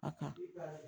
A ka